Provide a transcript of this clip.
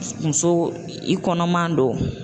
Muso i kɔnɔman do.